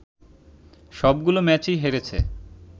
সবগুলো ম্যাচেই হেরেছে